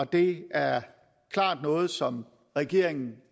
det er klart noget som regeringen